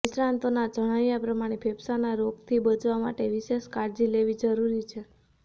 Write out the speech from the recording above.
નિષ્ણાતોના જણાવ્યા પ્રમાણે ફેફસાંના રોગથી બચવા માટે વિશેષ કાળજી લેવી જરૂરી છે